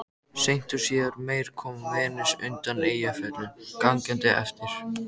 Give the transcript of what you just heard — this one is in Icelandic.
Seint og síðar meir kom Venus undan Eyjafjöllum gangandi eftir